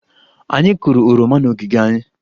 Anyị kụrụ oroma n'ogige anyị